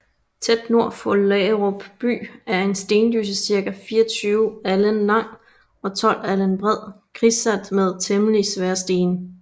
Tæt nord for Laagerup By en Stendysse circa 24 Alen lang og 12 Alen bred kringsat med temmelig svære Stene